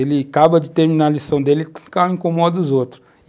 Ele acaba de terminar a lição dele e fica incomodo dos outros.